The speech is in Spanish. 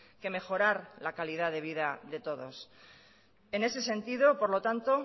que mejorar la calidad de vida de todos en ese sentido por lo tanto